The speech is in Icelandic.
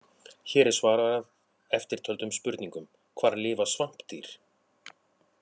Hér er svarað eftirtöldum spurningum: Hvar lifa svampdýr?